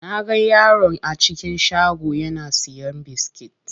Naga yaron a cikin shagon yana siyan biskit.